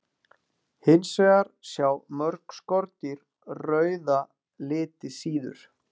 Hins vegar sjá mörg skordýr rauða liti síður.